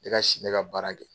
I ka si ne ka baara kɛ.